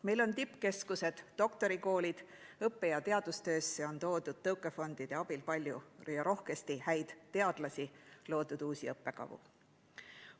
Meil on tippkeskused, doktorikoolid, õppe‑ ja teadustöösse on toodud tõukefondide abil rohkesti häid teadlasi, loodud on uusi õppekavu.